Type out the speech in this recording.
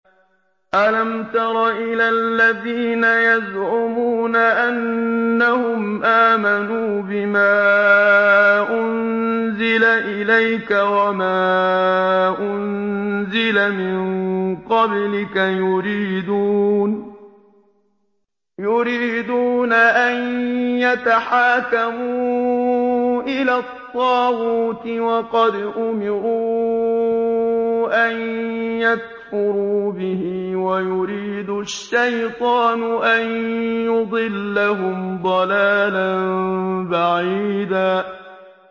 أَلَمْ تَرَ إِلَى الَّذِينَ يَزْعُمُونَ أَنَّهُمْ آمَنُوا بِمَا أُنزِلَ إِلَيْكَ وَمَا أُنزِلَ مِن قَبْلِكَ يُرِيدُونَ أَن يَتَحَاكَمُوا إِلَى الطَّاغُوتِ وَقَدْ أُمِرُوا أَن يَكْفُرُوا بِهِ وَيُرِيدُ الشَّيْطَانُ أَن يُضِلَّهُمْ ضَلَالًا بَعِيدًا